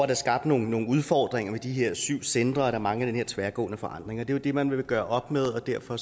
der skabt nogle nogle udfordringer ved de her syv centre er mange tværgående forandringer det er jo det man vil gøre op med derfor